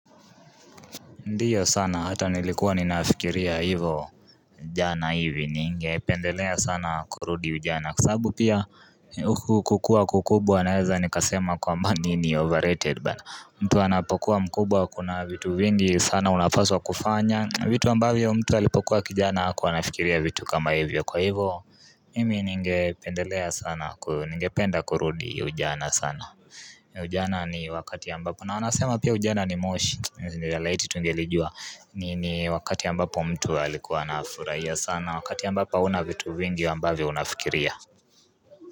Ndiyo sana hata nilikuwa ninafikiria hivo jana hivi ningependelea sana kurudi ujana Kwa sababu pia huku kukua kukubwa naweza nikasema kwamba ni overrated bwana mtu anapokuwa mkubwa kuna vitu vingi sana unapaswa kufanya vitu ambavyo mtu alipokuwa kijana hakuwa anafikiria vitu kama hivyo kwa hivo Mimi ningependelea sana ningependa kurudi ujana sana Ujana ni wakati ambapo na wanasema pia ujana ni moshi laiti tungelijua ni ni wakati ambapo mtu alikuwa nafurahia sana wakati ambapo hauna vitu vingi ambavyo unafikiria.